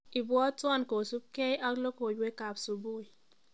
Ibwoton kosubkie ak logoiwekab subui